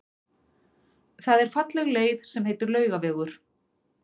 Það er falleg leið sem heitir Laugavegur.